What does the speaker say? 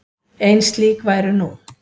Ein slík væru nú.